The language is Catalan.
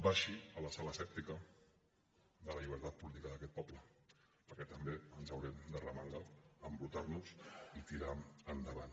baixi a la sala asèptica de la llibertat política d’aquest poble perquè també ens haurem d’arremangar embrutar nos i tirar endavant